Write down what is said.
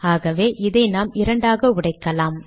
ஆகவே அதை நாம் இரண்டாக உடைக்கலாம்